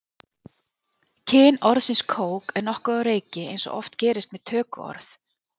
kyn orðsins kók er nokkuð á reiki eins og oft gerist með tökuorð